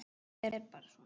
Þetta er bara svona.